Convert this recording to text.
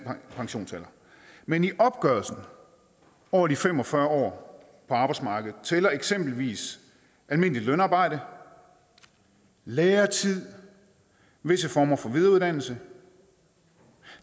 pensionsalder men i opgørelsen over de fem og fyrre år på arbejdsmarkedet tæller eksempelvis almindeligt lønarbejde læretid og visse former for videreuddannelse